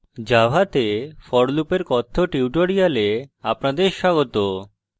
জাভাতে for loop এর কথ্য tutorial আপনাদের স্বাগত